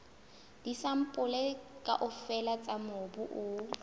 disampole kaofela tsa mobu o